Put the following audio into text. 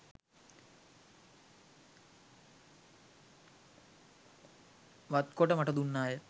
වත්කොට මට දුන්නාය